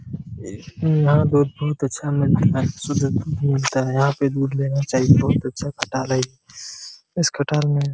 यहां पे बहुत अच्छा मिल्क है शुद्ध दूध मिलता है यहां पर दूध लेना चाहिए बहुत अच्छा खटाल है इस खटाल में --